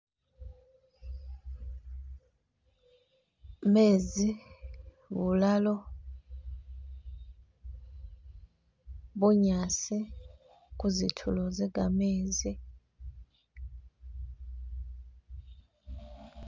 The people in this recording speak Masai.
Meezi, bulalo, bunyasi kuzitulo ze gameezi.